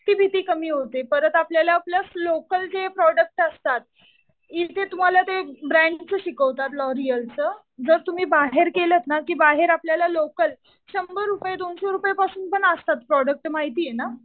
ती भीती कमी होते. परत आपल्याला प्लस लोकल जे प्रोडक्ट असतात. इथे तुम्हाला ते ब्रॅन्डचं शिकवतात लॉरियलचं. जर तुम्ही बाहेर केलंत ना तर बाहेर तुम्हाला लोकल शंभर रुपये, दोनशे रुपयांपासून पण असतात प्रोडक्ट ते माहितीये ना.